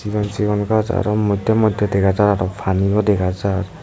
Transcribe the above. sigon sigon gaaj aro moddey moddey dega jar aro paniyo dega jar.